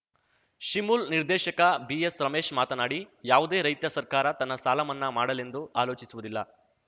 ಶಿಮುಲ್‌ ನಿರ್ದೇಶಕ ಬಿಎಸ್‌ರಮೇಶ್‌ ಮಾತನಾಡಿ ಯಾವುದೇ ರೈತ ಸರ್ಕಾರ ತನ್ನ ಸಾಲ ಮನ್ನಾ ಮಾಡಲೆಂದು ಆಲೋಚಿಸುವುದಿಲ್ಲ